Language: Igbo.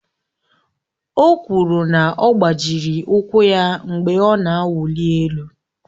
O kwuru na ọ gbajịrị ụkwụ ya mgbe ọ na-awụli elu